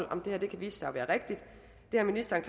om det her kan vise sig at være rigtigt det har ministeren